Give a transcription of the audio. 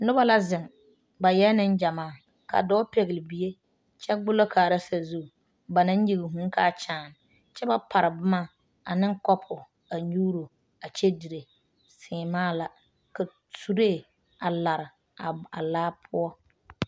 Noba la zeŋ ba eɛ nengyamaa ka dɔɔ pɛgle bie kyɛ gbollɔ kaara sazu ba naŋ nyige vūū kaa kyaane kyɛ ba pare boma ane kɔpo a nyuuro a kyɛ dire seemaa la ka suree a lare a laa poɔ.